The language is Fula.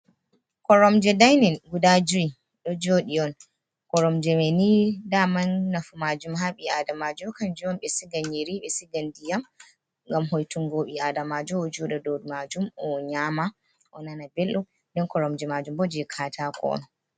Koromje daynin guda joyi ɗo jooɗi on, koromjemani daman nafu maajum haa ɓi aadamaajo kanjum on ɓe siga nyiiri, ɓe siga ndiyam, ngam hoytungo ɓi aadamaajo jooɗa dow maajum, o nyaama, o nana belɗum, ɗon koromje maajum bo jey kaataako on.